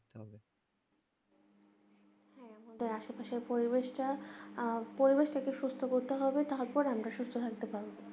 তো আশেপাশে পরিবেশ টাকে সুস্থ করতে হবে তারপর আমরা সুস্থ থাকতে পারবো